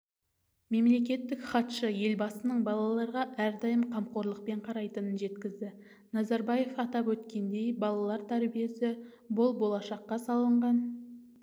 мемлекеттік хатшы елбасының балаларға әрдайым қамқорлықпен қарайтынын жеткізді назарбаев атап өткендей балалар тәрбиесі бұл болашаққа салынған